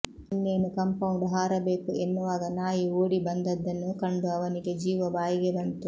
ಇನ್ನೇನು ಕಾಂಪೌಂಡ್ ಹಾರಬೇಕು ಎನ್ನುವಾಗ ನಾಯಿ ಓಡಿ ಬಂದದ್ದನ್ನು ಕಂಡು ಅವನಿಗೆ ಜೀವ ಬಾಯಿಗೆ ಬಂತು